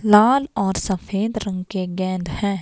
लाल और सफेद रंग के गेंद हैं।